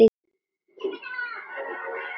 Áttu ekki til meira viskí?